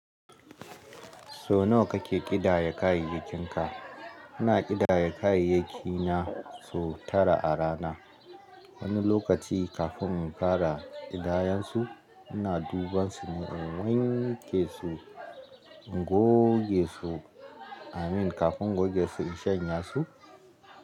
So nawa kake ƙidaya kayayyakinka? Ina ƙidaya kayayyaki na sau tara a rana. Wani lokaci kafin in fara ƙidayansu, ina dubansu ne in wanke su, in goge su, amin, kafin in goge su in shanya su.